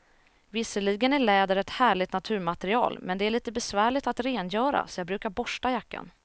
Visserligen är läder ett härligt naturmaterial, men det är lite besvärligt att rengöra, så jag brukar borsta jackan.